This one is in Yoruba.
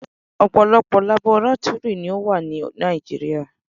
Ọ̀pọ̀lọpọ̀ labọrátúrì ni ó wà ní Nàìjíríà.